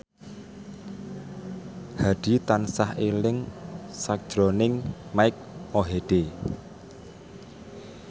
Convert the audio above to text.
Hadi tansah eling sakjroning Mike Mohede